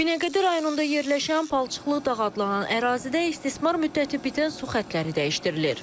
Binəqədi rayonunda yerləşən palçıqlı dağ adlanan ərazidə istismar müddəti bitən su xəttləri dəyişdirilir.